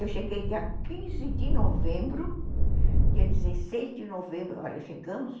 Eu cheguei dia quinze de novembro, dia dezesseis de novembro, olha, chegamos,